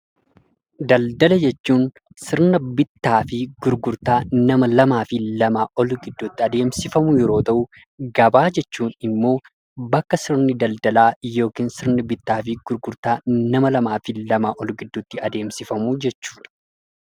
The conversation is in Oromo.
Daldala jechuun sirna bittaa fi gurgurtaa nama lamaa fi lamaa ol gidduutti adeemsifamu yeroo ta'u, gabaa jechuun immoo bakka sirni daldalaa yookiin sirni bittaa fi gurgurtaa nama lamaa fi lamaa ol gidduutti adeemsifamu jechuudha.